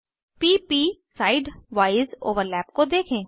p प side wise overlap को देखें